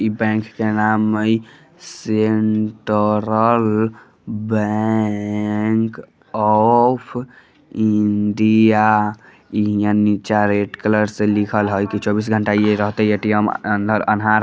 इ बैंक के नाम हई सेंट्रल बैंक ऑफ़ इंडिया इ हीया नीचे रेड कलर से लिखल हेय चौबीसो घंटे ए.टी.एम रहते अंदर अनहार --